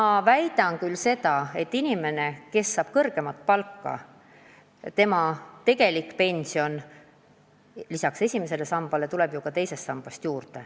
Ma väidan ka seda, et kui inimene saab kõrgemat palka, siis saab ta lisaks esimesele sambale teisest sambast rohkem raha juurde.